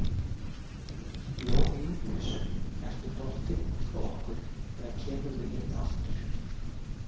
Jón Júlíus ertu dottinn út frá okkur eða kemurðu inn aftur?